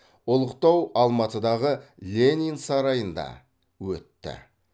ұлықтау алматыдағы ленин сарайында өтті